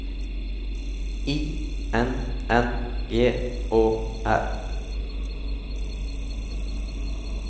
I N N G Å R